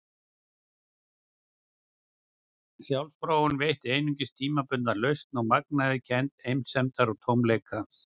Sjálfsfróun veitti einungis tímabundna lausn og magnaði kennd einsemdar og tómleika.